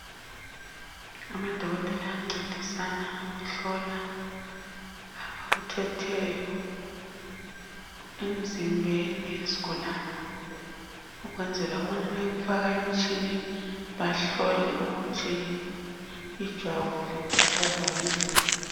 Amadokotela ayancedisana ukuhlola abakuthetheyo emzimbeni wesigulani ukwenzela ukuthi bayekufaka emtshineni ukuze babone ijwabu likhathazwa yini.